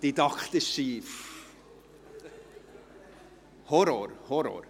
Dies ist ein didaktischer Horror, Horror!